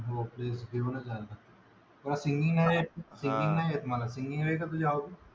हो प्लेस बघूनच घेऊ आता. मला सिंगिंग नाय येत सिंगिंग आहे का तुझ्या आवडीचं?